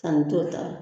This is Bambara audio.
San t'o ta